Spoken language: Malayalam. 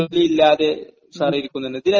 മ്...മ്...